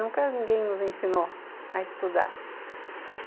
Nunca ninguém nos ensinou a estudar.